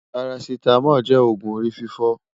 pàràcìtàmòl jé ọgùn òrí fìfò